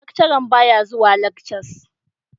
Lecturern baya zuwa lekcas.